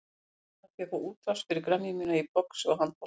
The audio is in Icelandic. Ég stefni að því að fá útrás fyrir gremju mína í boxi og handbolta.